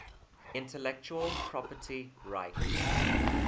intellectual property rights